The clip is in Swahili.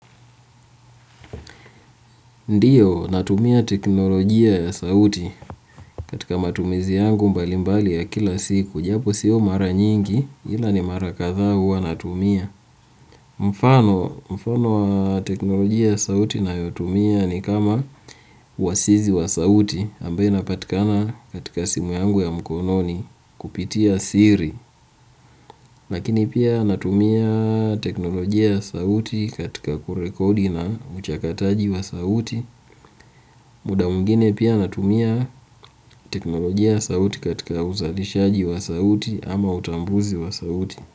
Ndiyo, natumia teknolojia ya sauti katika matumizi yangu mbali mbali ya kila siku, japo siyo mara nyingi, ila ni mara kadhaa huwa natumia. Mfano mfano wa teknolojia ya sauti ninayotumia ni kama uwasizi wa sauti ambayo inapatikana katika simu yangu ya mkononi kupitia siri lakini pia natumia teknolojia sauti katika kurekodi na uchakataji wa sauti muda mwingine pia natumia teknolojia ya sauti katika uzalishaji wa sauti ama utambuzi wa sauti.